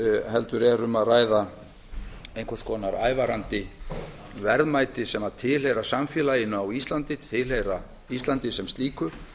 heldur er um að ræða einhvers konar ævarandi verðmæti sem tilheyra samfélaginu á íslandi tilheyra íslandi sem slíku